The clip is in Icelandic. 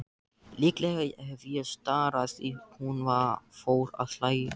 Líklega hef ég starað því hún fór að hlæja.